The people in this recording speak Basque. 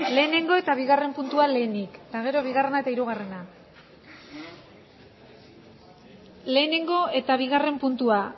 lehenengo eta bigarren puntua lehenik eta gero bigarrena eta hirugarrena lehenengo eta bigarren puntua